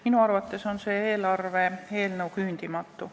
Minu arvates on see eelarve eelnõu küündimatu.